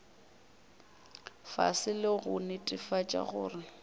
fase le go netefatša gore